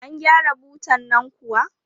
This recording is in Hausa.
An gyara butan nan kuwa?